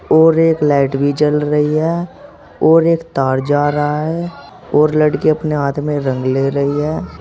और एक लाइट भी जल रही है और एक तार जा रहा है और लड़की अपने हाथ में रंग ले रही है।